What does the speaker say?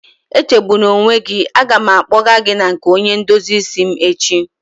Echegbuna onwe gị, a ga m akpọgaa gị na nke onye ndozi isi m echi